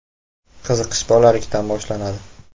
Qiziqish bolalikdan boshlanadi.